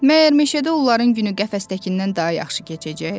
Məgər meşədə onların günü qəfəsdəkindən daha yaxşı keçəcək?